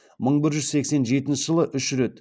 мың бір жүз сексен жетінші жылы үш рет